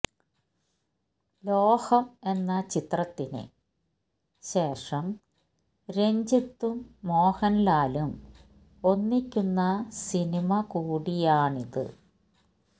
ലോഹം എന്ന ചിത്രത്തിന് ശേഷം രഞ്ജിത്തും മോഹൻലാലും ഒന്നിക്കുന്ന സിനിമ കൂടിയാണിത്